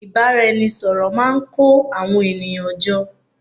ìbáraẹnisọ̀rọ̀ máà ń kó àwọn ènìyàn jọ